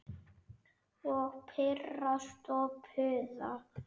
Og pirrast og puða.